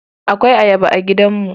Akwai Ayaba a gidanmu.